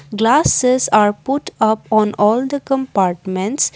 glasses are put up on all the compartments.